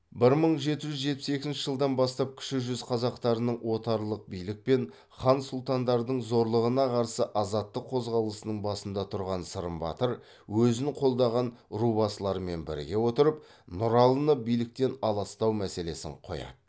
бір мың жеті жүз жетпіс екінші жылдан бастап кіші жүз қазақтарының отарлық билік пен хан сұлтандардың зорлығына қарсы азаттық қозғалысының басында тұрған сырым батыр өзін қолдаған рубасыларымен біріге отырып нұралыны биліктен аластау мәселесін қояды